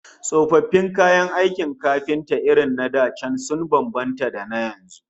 Tsofaffin kayan aikin kafinta irin na da sun bambanta da na yanzu